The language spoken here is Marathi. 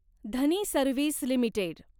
Dhani service limited